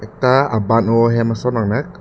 ta aban o ahem son nangnak.